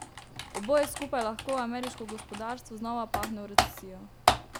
Oboje skupaj lahko ameriško gospodarstvo znova pahne v recesijo.